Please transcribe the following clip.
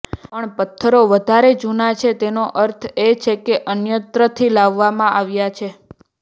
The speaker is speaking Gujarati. પણ પથ્થરો વધારે જૂના છે તેનો અર્થ એ કે તે અન્યત્રથી લાવવામાં આવ્યા છે